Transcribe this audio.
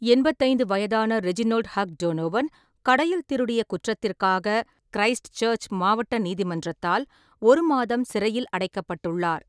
எண்பத்தைந்து வயதான Reginald Hugh Donovan, கடையில் திருடிய குற்றத்திற்காக கிறைஸ்ட்சர்ச் மாவட்ட நீதிமன்றத்தால் ஒரு மாதம் சிறையில் அடைக்கப்பட்டுள்ளார்.